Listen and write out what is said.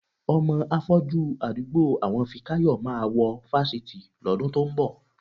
Ọmọ afọ́jú àdúgbò àwọn Fikáyọ̀ máa wọ fásitì lọ́dún tó ń bọ̀.